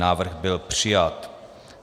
Návrh byl přijat.